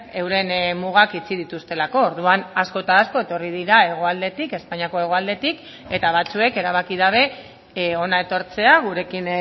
euren mugak itxi dituztelako orduan asko eta asko etorri dira hegoaldetik espainiako hegoaldetik eta batzuek erabaki dabe hona etortzea gurekin